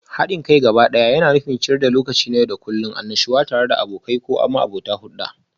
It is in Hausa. Haɗin kai gabaɗaya yana nufin ciyar da lokaci na yau da kullun, annashuwa tare da abokai ko abokai.